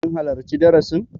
Kin halarci darasin?